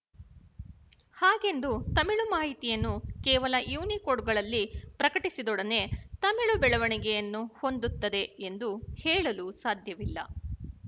ಹಾಗೆಂದು ತಮಿಳು ಮಾಹಿತಿಯನ್ನು ಕೇವಲ ಯುನಿಕೋಡ್‍ಗಳಲ್ಲಿ ಪ್ರಕಟಿಸಿದೊಡನೆ ತಮಿಳು ಬೆಳವಣಿಗೆಯನ್ನು ಹೊಂದುತ್ತದೆ ಎಂದು ಹೇಳಲು ಸಾಧ್ಯವಿಲ್ಲ